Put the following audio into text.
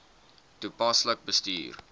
toepaslik bestuur